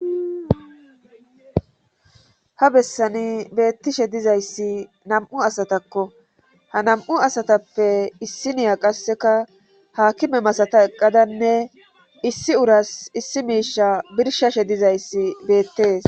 Ha bessani beettishe dizayssi nam7u asatakko ha nam7u asatappe issi niya qasseka haakime masata eqadanne issi uras issi miisha birshashe dizayssi beettees